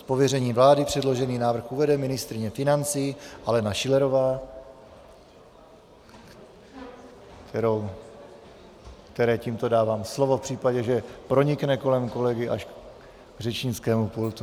Z pověření vlády předložený návrh uvede ministryně financí Alena Schillerová, které tímto dávám slovo v případě, že pronikne kolem kolegy až k řečnickému pultu.